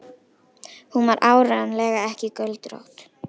Hún var áreiðanlega ekki göldrótt.